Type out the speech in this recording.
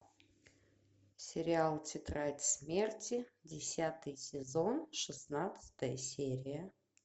сериал тетрадь смерти десятый сезон шестнадцатая серия